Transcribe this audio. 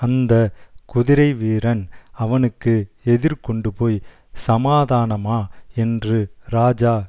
அந்த குதிரைவீரன் அவனுக்கு எதிர்கொண்டுபோய் சமாதானமா என்று ராஜா